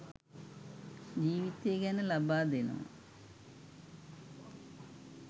ජීවිතය ගැන ලබා දෙනවා